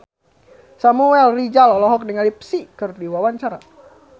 Samuel Rizal olohok ningali Psy keur diwawancara